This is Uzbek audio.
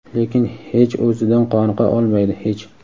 lekin hech o‘zidan qoniqa olmaydi, hech.